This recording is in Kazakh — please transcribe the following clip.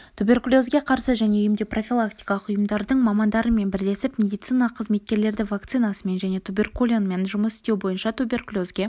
туберкулезге қарсы және емдеу-профилактикалық ұйымдардың мамандарымен бірлесіп медициналық қызметкерлерді вакцинасымен және туберкулинмен жұмыс істеу бойынша туберкулезге